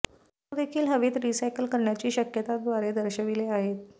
ते देखील हवेत रिसायकल करण्याची शक्यता द्वारे दर्शविले आहेत